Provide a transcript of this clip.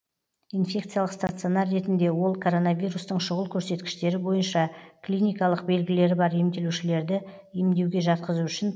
инфекциялық стационар ретінде ол коронавирустың шұғыл көрсеткіштері бойынша клиникалық белгілері бар емделушілерді емдеуге жатқызу үшін